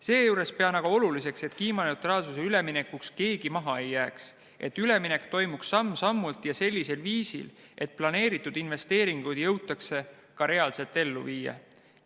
Seejuures pean aga oluliseks, et kiimaneutraalsusele üleminekul keegi maha ei jääks, et üleminek toimuks samm-sammult ja sellisel viisil, et planeeritud investeeringud jõutaks ka reaalselt ellu viia.